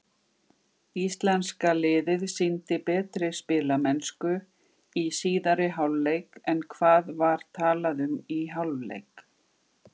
Íslenska liðið sýndi betri spilamennsku í síðari hálfleik en hvað var talað um í hálfleik?